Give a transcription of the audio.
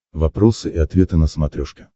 вопросы и ответы на смотрешке